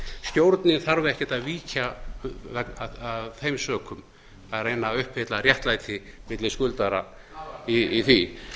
stjórnin þarf ekkert að víkja af þeim sökum að reyna að uppfylla réttlæti milli skuldara í því